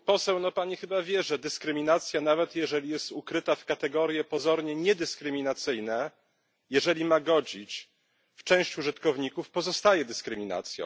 Pani poseł, chyba pani wie, że dyskryminacja nawet jeżeli jest ubrana w kategorie pozornie niedyskryminacyjne jeżeli ma godzić w część użytkowników, pozostaje dyskryminacją.